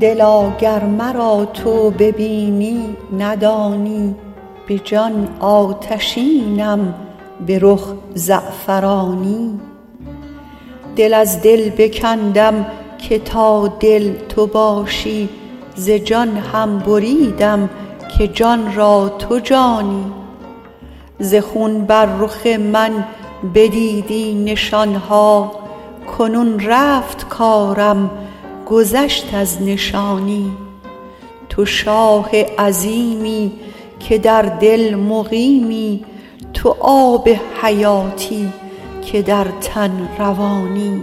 دلا گر مرا تو ببینی ندانی به جان آتشینم به رخ زعفرانی دل از دل بکندم که تا دل تو باشی ز جان هم بریدم که جان را تو جانی ز خون بر رخ من بدیدی نشان ها کنون رفت کارم گذشت از نشانی تو شاه عظیمی که در دل مقیمی تو آب حیاتی که در تن روانی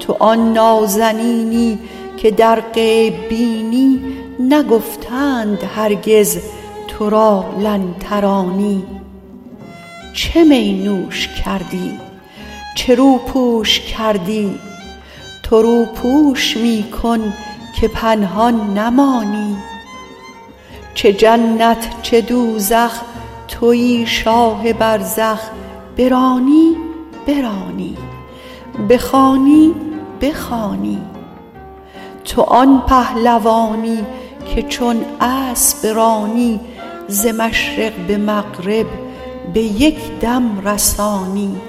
تو آن نازنینی که در غیب بینی نگفتند هرگز تو را لن ترانی چه می نوش کردی چه روپوش کردی تو روپوش می کن که پنهان نمانی چه جنت چه دوزخ توی شاه برزخ برانی برانی بخوانی بخوانی تو آن پهلوانی که چون اسب رانی ز مشرق به مغرب به یک دم رسانی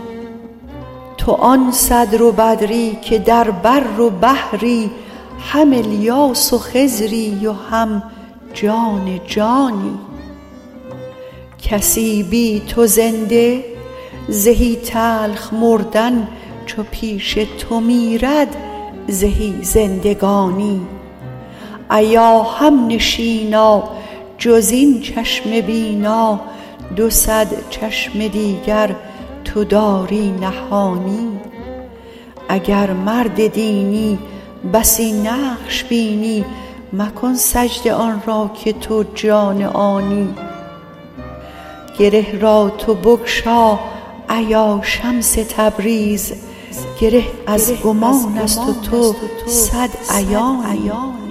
تو آن صدر و بدری که در بر و بحری هم الیاس و خضری و هم جان جانی کسی بی تو زنده زهی تلخ مردن چو پیش تو میرد زهی زندگانی ایا همنشینا جز این چشم بینا دو صد چشم دیگر تو داری نهانی اگر مرد دینی بسی نقش بینی مکن سجده آن را که تو جان آنی گره را تو بگشا ایا شمس تبریز گره از گمانست و تو صد عیانی